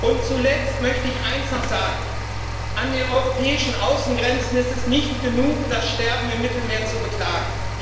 Und zuletzt möchte ich eines noch sagen An den europäischen Außengrenzen ist es nicht genug, das Sterben im Mittelmeer zu beklagen.